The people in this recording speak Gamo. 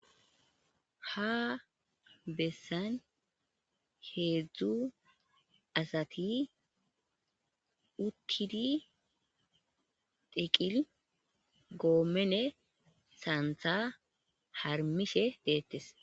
Ha bessan heezzu asati uttidi eqqidi goommene saantha harmishe deettes.